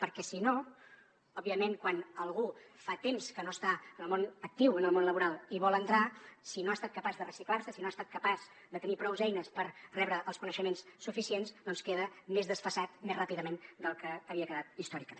perquè si no òbviament quan algú fa temps que no està en el món actiu en el món laboral i vol entrar hi si no ha estat capaç de reciclar se si no ha estat capaç de tenir prous eines per rebre els coneixements suficients doncs queda més desfasat més ràpidament del que havia quedat històricament